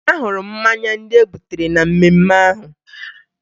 Ahụrụ m mmanya ndị e butere na mmemme ahụ